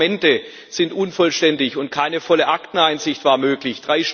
Auch die Dokumente sind unvollständig, und keine volle Akteneinsicht war möglich.